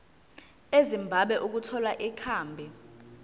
ezimbabwe ukuthola ikhambi